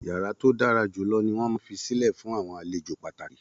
Yara to dára jù lọ ní wọn máa n fisilẹ fun àwọn àlejò pàtàkì.